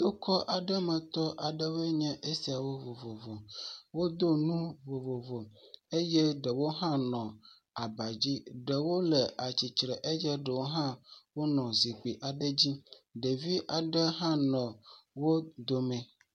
Tokɔ aɖe me tɔ aɖewoe nye esiawo vovovo. Wodo nu vovovo eye ɖewo hã nɔ aba dzi. Ɖewo le tsitre eye ɖewo hã zikpui aɖe dzi. Ɖevi aɖe hã nɔ wo dome.